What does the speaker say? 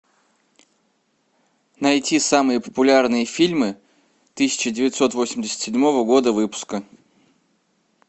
найти самые популярные фильмы тысяча девятьсот восемьдесят седьмого года выпуска